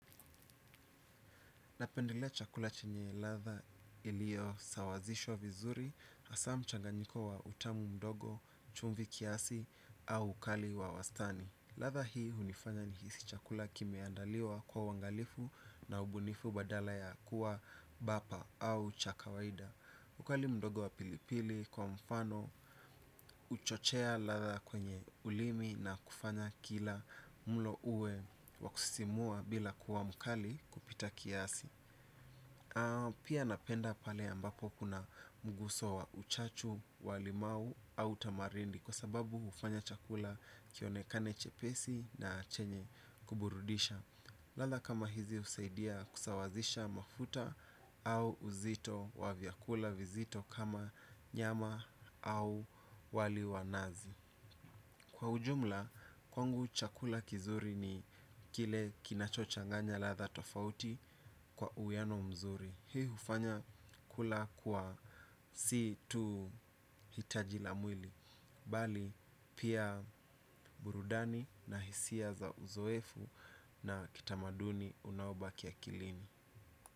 Napendelea chakula chenye ladha iliyo sawazishwa vizuri, hasa mchanganyiko wa utamu mdogo, chumvi kiasi au ukali wa wastani. Ladha hii hunifanya nihisi chakula kimeandaliwa kwa uangalifu na ubunifu badala ya kuwa bapa au cha kawaida. Ukali mdogo wa pilipili kwa mfano huchochea ladha kwenye ulimi na kufanya kila mlo uwe wa kusisimua bila kuwa mkali kupita kiasi. Pia napenda pale ambapo kuna mguso wa uchachu, wa limau au tamarindi kwa sababu hufanya chakula kionekane chepesi na chenye kuburudisha. Ladha kama hizi husaidia kusawazisha mafuta au uzito wa vyakula vizito kama nyama au wali wa nazi. Kwa ujumla, kwangu chakula kizuri ni kile kinachochanganya ladha tofauti kwa uwiano mzuri. Hii hufanya kula kuwa si tu hitajila mwili bali pia burudani na hisia za uzoefu na kitamaduni unaobaki akilini.